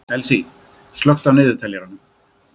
Elsý, slökktu á niðurteljaranum.